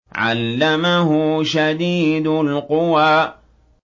عَلَّمَهُ شَدِيدُ الْقُوَىٰ